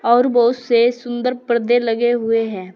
और बहोत से सुंदर परदे लगे हुए हैं।